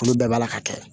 Olu bɛɛ b'a la ka kɛ